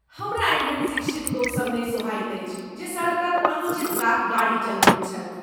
हमरा एहन शिक्षित लोकसभ नहि सोहायत अछि जे सड़कक अनुचित कात गाड़ी चलबैत छथि।